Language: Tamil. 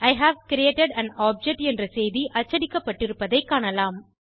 E have created an object என்ற செய்தி அச்சடிக்கப்பட்டிருப்பதை காணலாம்